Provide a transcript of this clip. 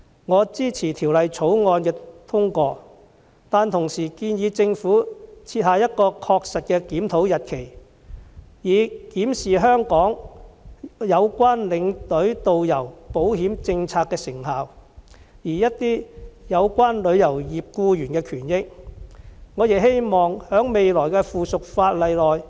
我支持《條例草案》的通過，但同時建議政府設下確實的檢討日期，以檢視有關領隊導遊保險政策的成效，而一些有關旅遊業僱員的權益，我亦希望在未來的附屬法例中，政府能有所關顧。